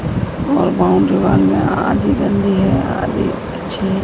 और boundary wall में --